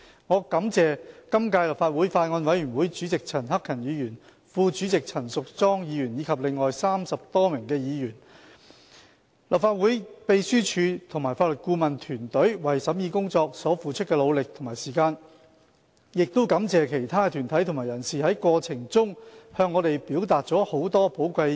我感謝今屆立法會法案委員會主席陳克勤議員、副主席陳淑莊議員及另外30多名議員、立法會秘書處和法律顧問團隊為審議工作所付出的努力和時間，亦感謝其他的團體和人士，在過程中向我們表達了很多寶貴的意見。